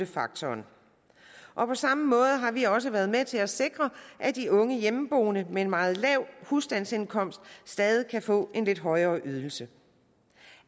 faktoren og på samme måde har vi også været med til at sikre at de unge hjemmeboende med en meget lav husstandsindkomst stadig kan få en lidt højere ydelse